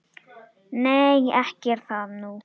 Nei, ekki er það nú.